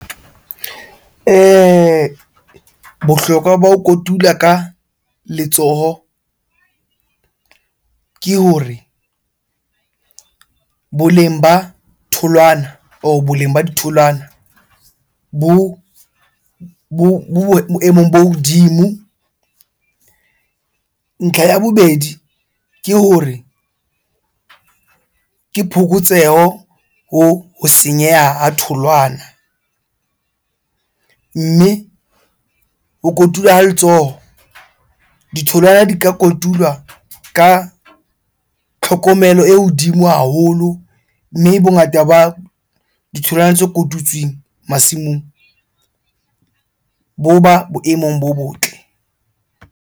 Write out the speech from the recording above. Bohlokwa ba ho kotula ka letsoho ke hore boleng ba tholwana or boleng ba ditholwana bo boemong bo hodimo. Ntlha ya bobedi ke hore, ke phokotseho ho senyeha ha tholwana. Mme ho kotulwa ha letsoho, ditholwana di ka kotulwa ka tlhokomelo e hodimo haholo. Mme bongata ba ditholwana tse kotutsweng masimong bo ba boemong bo botle.